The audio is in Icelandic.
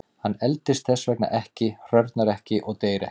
Hann eldist þess vegna ekki, hrörnar ekki og deyr ekki.